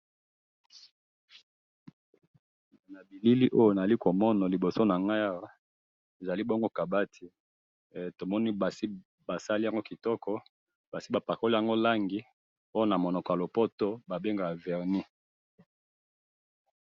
na bilili oyo nazali komona na liboso nangayi awa ezali bongo kabati tomoni esi basali yango kitoko basi bapakoli oyo ba benga na munoko ya lopoto vernis.